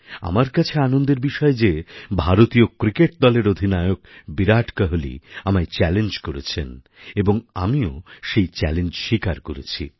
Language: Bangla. আমার কাছে আনন্দের বিষয় যে ভারতীয় ক্রিকেট দলের অধিনায়ক বিরাট কোহলি আমায় চ্যালেঞ্জ করেছেন এবং আমিও সেই চ্যালেঞ্জ স্বীকার করেছি